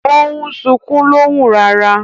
O n sunkun lohùn rara